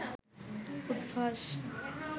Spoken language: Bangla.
উদ্ভাস